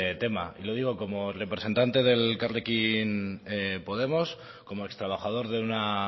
tema y lo digo como representante de elkarrekin podemos como ex trabajador de una